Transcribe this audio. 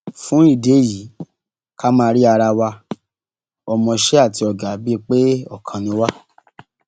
fún ìdí èyí ká máa rí ara wa ọmọọṣẹ àti ọgá bíi pé ọkan náà ni wá